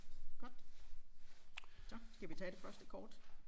Godt så skal vi tage det første kort